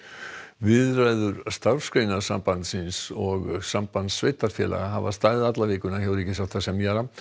viðræður Starfsgreinasambandsins og Sambands sveitarfélaga hafa staðið alla vikuna hjá ríkissáttasemjara